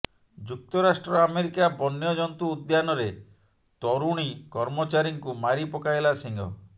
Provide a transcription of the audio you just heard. ଯୁକ୍ତରାଷ୍ଟ୍ର ଆମେରିକା ବନ୍ୟଜନ୍ତୁ ଉଦ୍ୟାନରେ ତରୁଣୀ କର୍ମଚାରୀଙ୍କୁ ମାରି ପକାଇଲା ସିଂହ